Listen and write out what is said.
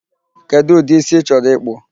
Kedụ ụdị ísí ị chọrọ ịkpụ?